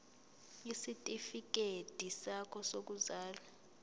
isitifikedi sakho sokuzalwa